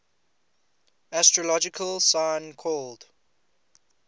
astrological sign called